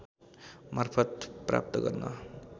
मार्फत् प्राप्त गर्न